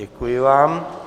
Děkuji vám.